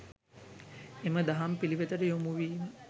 එම දහම් පිළිවෙතට යොමුවීම